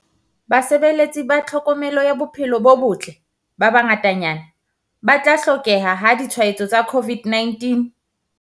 Basebeletsi ba tlhokomelo ya bophelo bo botle ba bangatanyana ba tla hlokeha ha ditshwaetso tsa COVID-19o